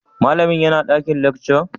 Malam yana dakin lecture?